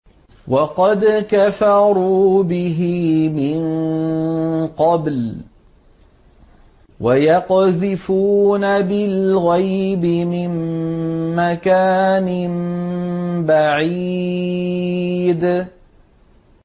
وَقَدْ كَفَرُوا بِهِ مِن قَبْلُ ۖ وَيَقْذِفُونَ بِالْغَيْبِ مِن مَّكَانٍ بَعِيدٍ